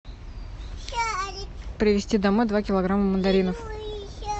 привезти домой два килограмма мандаринов